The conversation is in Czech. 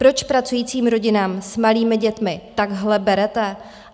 Proč pracujícím rodinám s malými dětmi takhle berete?